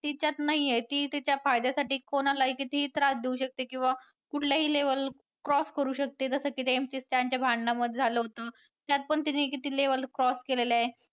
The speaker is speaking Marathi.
ती त्यात नाही आहे ती तिच्या फायद्यासाठी कोणालाही कितीही त्रास देऊ शकते किंवा कुठल्याही level cross करू शकते जसं की ते MC. Stan च्या भांडणांमध्ये झालं होतं. त्यात पण तिने किती level cross केलेलं आहे.